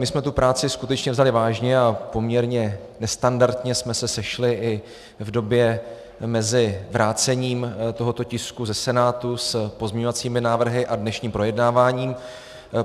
My jsme tu práci skutečně vzali vážně a poměrně nestandardně jsme se sešli i v době mezi vrácením tohoto tisku ze Senátu s pozměňovacími návrhy a dnešním projednáváním.